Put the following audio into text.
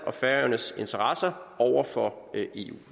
og færøernes interesser over for eu